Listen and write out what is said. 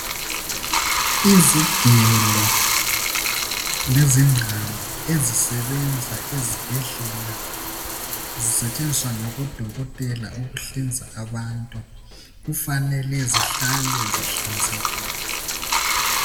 Izigelo lezingqamu ezisebenza ezibhedlela zisetshenziswa ngabodokotela ukuhlinza abantu, kufanele zihlale zihlanzekile.